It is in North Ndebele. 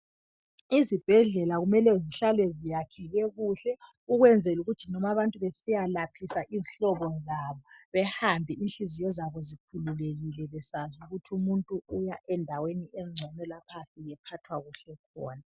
Izibhedlela kumele zihlale ziyakheke kuhle ukwenzelukuthi noma bantu besiyalaphisa izihlobo zabo behambe inhliziyo zabo zikhululekile besazi ukuthi umuntu uya endaweni engcono lapha ayafika ephathwa kuhle khona.